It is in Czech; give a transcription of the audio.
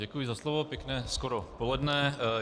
Děkuji za slovo, pěkné skoro poledne.